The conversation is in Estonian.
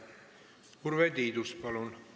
Urve Tiidus, palun!